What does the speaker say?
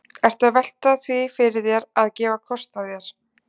Ertu að velta því fyrir þér að, að gefa kost á þér?